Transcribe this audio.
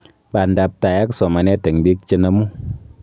Bandaptai ak somanet eng biik chenomu